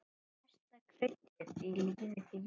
Besta kryddið í lífi þínu.